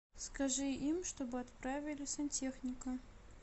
скажи им чтобы отправили сантехника